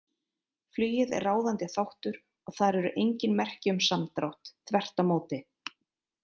Flugið er ráðandi þáttur og þar eru engin merki um samdrátt, þvert á móti.